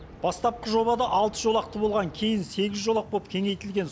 бастапқы жобада алты жолақты болған кейін сегіз жолақ болып кеңейтілген